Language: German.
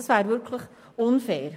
Dies wäre unfair.